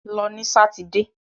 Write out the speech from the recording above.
Lọ ní sátidé!